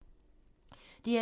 DR2